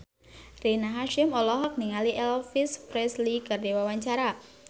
Rina Hasyim olohok ningali Elvis Presley keur diwawancara